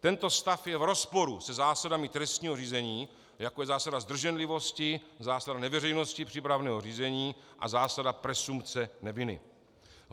Tento stav je v rozporu se zásadami trestního řízení, jako je zásada zdrženlivosti, zásada neveřejnosti přípravného řízení a zásada presumpce neviny.